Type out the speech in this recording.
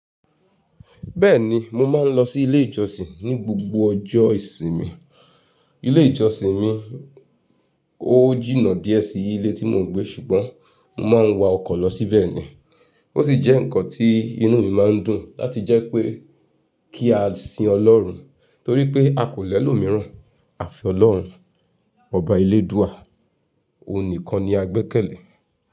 Bẹ́ẹ̀ni, mo máa ń lọ sí ilé ìjọsìn ní gbogbo ọjọ́ ìsinmi. Ilé ìjọsìn mi ó jìnà díẹ̀ sí ilé tí mò ń gbé ṣùgbọ́n mo máa ń wa ọkọ̀ lọ síbẹ̀ ni ó sì jẹ́ nǹkan tí inú mi máa ń dùn láti jẹ́ pé kí a sin Ọlọ́run torí pé a kò lẹ́ lò míràn. Àfi Ọlọ́run, Ọba ele dúà, òun nìkan ni a gbẹ́kẹ̀lé.